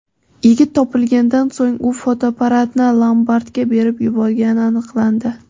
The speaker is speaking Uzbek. Yigit topilganidan so‘ng u fotoapparatni lombardga berib yuborgani aniqlandi.